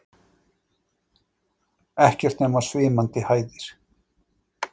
Ekkert nema svimandi hæðir.